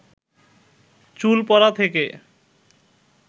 চুল পড়া থেকে